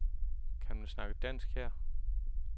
Kan man snakke dansk her?